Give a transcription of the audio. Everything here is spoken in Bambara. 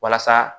Walasa